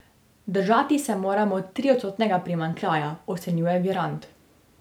Držati se moramo triodstotnega primanjkljaja, ocenjuje Virant.